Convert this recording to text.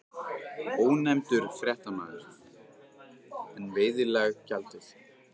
Ónefndur fréttamaður: En veiðileyfagjaldið?